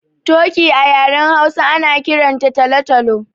Toki a yaren Hausa ana kiran ta talo-talo.